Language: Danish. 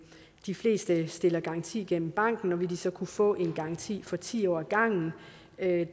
de fleste stiller garanti gennem banken og vil de så kunne få en garanti for ti år ad gangen det